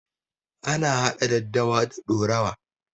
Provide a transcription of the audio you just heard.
Ana hada daddawa da ɗorawa.